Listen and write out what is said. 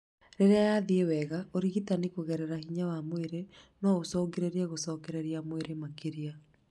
Rĩrĩa yathiĩ wega, ũrigitani kũgerea hinya wa mwĩrĩ no ũcũngĩrĩrie gũcokereia mwĩrĩ makĩria